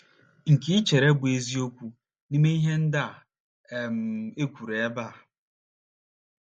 nke i chere bụ́ eziokwu n’ime ihe ndị a um e kwuru ebe a?